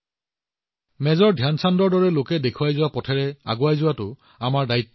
major Dhyan চাঁদজীৰ দৰে ব্যক্তিয়ে প্ৰদান কৰা পথত আগবাঢ়ি যোৱাটো আমাৰ দায়িত্ব